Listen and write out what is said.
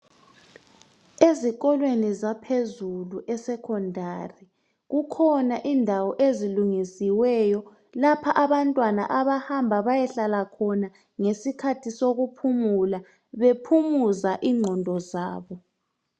Ezinkolweni zaphezulu isecondary kukhona indawo ezilungisiweyo lapha abantwana abahamba bayehlala khona ngesikhathi sokuphumula bephumuza ingqondo zabo